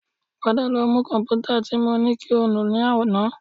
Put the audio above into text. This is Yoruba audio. Padà lọ nu kọ̀m̀pútà tí mo ní kí o nù ní àná